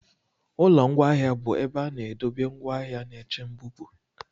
Ụlọ ngwaahịa bụ ebe a na-edobe ngwaahịa na-eche mbupụ.